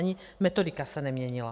Ani metodika se neměnila.